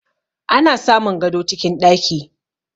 Ana samun gado cikin ɗaki